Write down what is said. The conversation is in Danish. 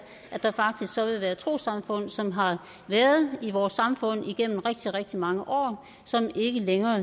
at der faktisk så vil være trossamfund som har været i vores samfund igennem rigtig rigtig mange år som ikke længere